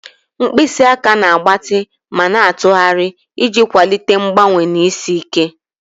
Mkpịsị aka na-agbatị ma na-atụgharị iji kwalite mgbanwe na isi ike.